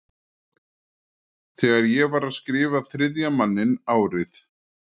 Þegar ég var að skrifa Þriðja manninn árið